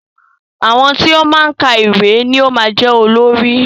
Àwọn tí ó máa ń ka ìwé ni yóò máa jẹ́ olórí